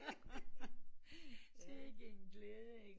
Sikke en glæde ikke